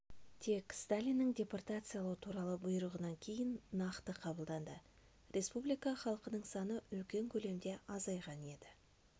тек сталиннің депортациялау туралы бұйрығынан кейін нақты қабылданды республика халқының саны үлкен көлемде азайған еді